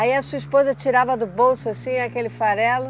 Aí a sua esposa tirava do bolso, assim, aquele farelo?